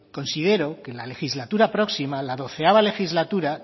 considero que en la legislatura próxima la doceava legislatura